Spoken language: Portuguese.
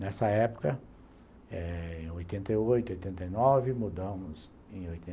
Nessa época eh em oitenta e oito, oitenta e nove, mudamos em oitenta